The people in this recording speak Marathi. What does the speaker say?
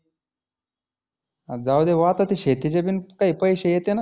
जाऊदे भो आता ते शेतीचे बीन काही पैसे येते ना.